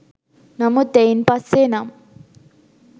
නමුත් එයින් පස්සේ නම්